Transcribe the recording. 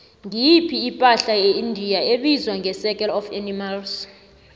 ngiyiphi ipahla yeindia ebizwa ngecircle of animals